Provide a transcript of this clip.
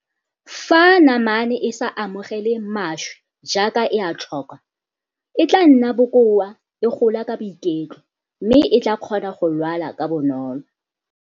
Fa namane e sa amogele mašwi jaaka e a tlhoka, e tla nna bokoa, e gola ka boiketlo mme e tla kgona go lwala ka bonolo.